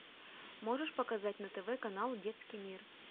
можешь показать на тв канал детский мир